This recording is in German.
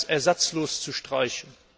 ersatzlos zu streichen.